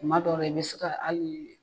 Kuma dɔw la i bɛ se ka hali